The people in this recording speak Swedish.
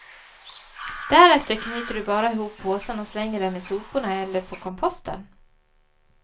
Därefter knyter du bara ihop påsen och slänger den i soporna eller på komposten.